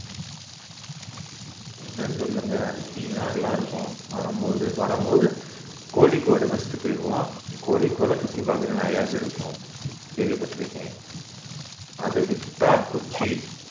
இன்னும் சொல்லணும்னா அப்படின்னா நல்லா இருக்கும் வரும் போது வரும் போது கோழிகோடு first க்கு ஏறுவோம் கோழிகோட சுத்தி பாக்க நிறையவே இருக்கும் கேள்விப்பட்டிருப்பிங்க அத விட்டா கொச்சி